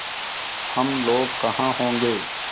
हम लोग कहाँ होंगे